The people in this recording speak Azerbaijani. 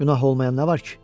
Günah olmayan nə var ki?